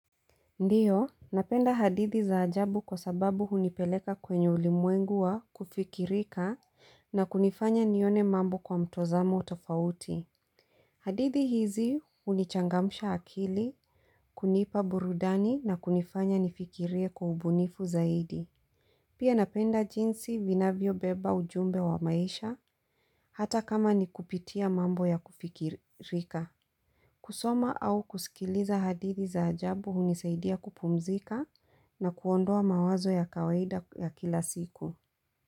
Ndiyo, napenda hadithi za ajabu kwa sababu hunipeleka kwenye ulimwengu wa kufikirika na kunifanya nione mambo kwa mtzamo tofauti. Hadithi hizi hunichangamsha akili, kunipa burudani na kunifanya nifikirie kwa ubunifu zaidi. Pia napenda jinsi vinavyo beba ujumbe wa maisha, hata kama nikupitia mambo ya kufikirika. Kusoma au kusikiliza hadithi za ajabu hunisaidia kupumzika na kuondoa mawazo ya kawaida ya kila siku.